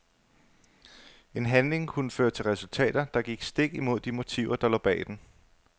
En handling kunne føre til resultater, der gik stik imod de motiver der lå bag den.